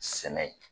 Sɛnɛ